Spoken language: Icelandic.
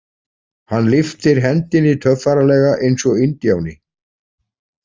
Hann lyftir hendinni töffaralega, eins og indíáni.